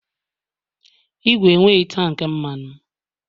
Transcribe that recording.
Ìgwè enweghị tank mmanụ